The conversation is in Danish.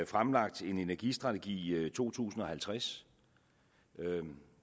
fremlagt en energistrategi to tusind og halvtreds